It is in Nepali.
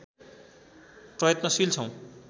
प्रयत्नशील छौँ